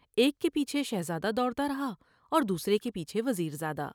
ایک کے پیچھے شہزادہ دوڑ تا رہا اور دوسرے کے پیچھے وزیر زادہ ۔